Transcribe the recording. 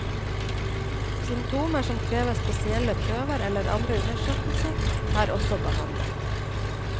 Symptomer som krever spesielle prøver eller andre undersøkelser, er også behandlet.